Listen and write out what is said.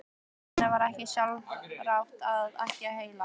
Nei, henni var ekki sjálfrátt og ekkert heilagt.